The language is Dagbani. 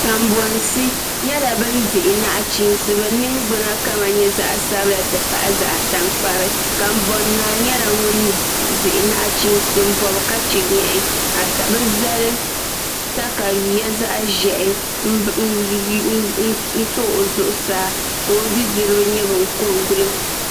Kanbonsi nyɛla bin dihi nachiinsi bin ningbuna kama nyɛ zaɣ sabila ti pahi zaɣ tankpari kanbon naa nyɛla ŋun dihi nachiinsi n bob ka chɛ nyaɣi ka bi zali katawiya zaɣ ʒiɛhi n to o zuɣusaa ka o bi diribi nyɛ bin ko n gilo